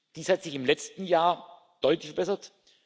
Dies hat sich im letzten Jahr deutlich verbessert.